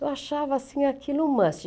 Eu achava assim aquilo um